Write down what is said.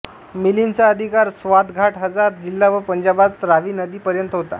मिलिन्दचा अधिकार स्वातघाट हजार जिल्हा व पंजाबात रावी नदी पर्यंत होता